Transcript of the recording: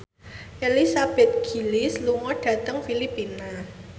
Elizabeth Gillies lunga dhateng Filipina